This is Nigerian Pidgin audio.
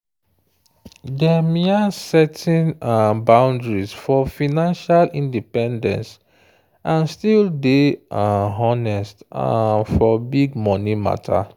dem yan setting um boundaries for financial independence and still day um honest um for big money matter.